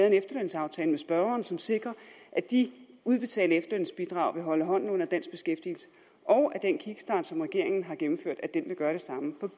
en efterlønsaftale med spørgeren som sikrer at de udbetalte efterlønsbidrag vil holde hånden under dansk beskæftigelse og at den kickstart som regeringen har gennemført vil gøre det samme for